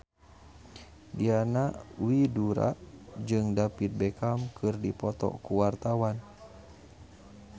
Diana Widoera jeung David Beckham keur dipoto ku wartawan